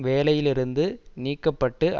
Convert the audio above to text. வேலையிலிருந்து நீக்க பட்டு